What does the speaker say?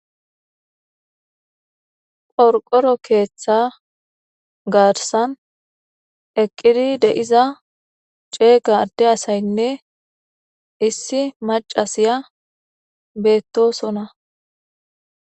Qorqqora keththa gaththan issi addeyinne maccay bettoson.